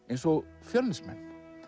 eins og Fjölnismenn